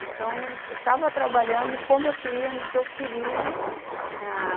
Então, eu estava trabalhando como eu queria, no que eu queria ãh...